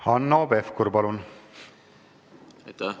Hanno Pevkur, palun!